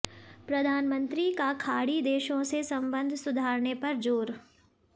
प्रधानमंत्री का खाड़ी देशों से संबंध सुधारने पर जोर